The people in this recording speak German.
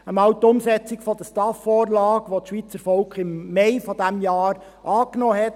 zunächst die Umsetzung der STAF-Vorlage, welche das Schweizer Volk im Mai dieses Jahres angenommen hat;